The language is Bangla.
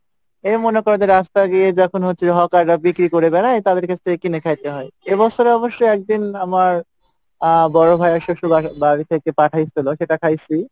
এই মনে করো যে রাস্তা গিয়ে যখন হচ্ছে হকাররা বিক্রি করে বেরাই তাদের কাছ থেকে কিনে খাইতে হয়, এ বৎসরে অবশ্য একদিন আমার আহ বড় ভাইয়ার শোশুর বা~বাড়ি থেকে পাঠাইসিলো সেটা খাইসি